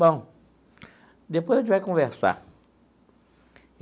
Bom, depois a gente vai conversar.